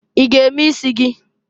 I g'eme isi gị?